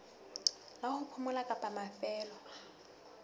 la ho phomola kapa mafelo